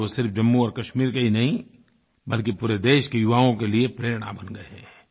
आज वो सिर्फ जम्मू और कश्मीर के ही नहीं बल्कि पूरे देश के युवाओं के लिए प्रेरणा बन गए हैं